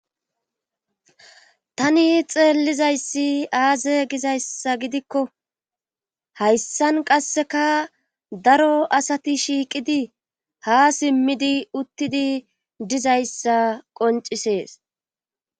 Tani xeellizayssi aaze gizayssa gidikko hayssan qasseka daro asati shiiqidi ha simmidi uttidi dizayssa qoncisees.